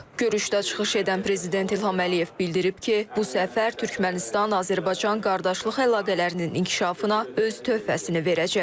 Görüşdə çıxış edən Prezident İlham Əliyev bildirib ki, bu səfər Türkmənistan-Azərbaycan qardaşlıq əlaqələrinin inkişafına öz töhfəsini verəcək.